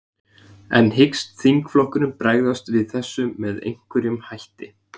En hyggst þingflokkurinn bregðast við þessu með einhverjum hætti?